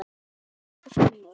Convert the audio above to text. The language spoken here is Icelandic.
Elsku Finnur.